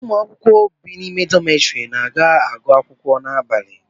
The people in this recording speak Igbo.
Ụmụ akwụkwọ bi n'ime dọmetiri na-aga ịgụ akwụkwọ abalị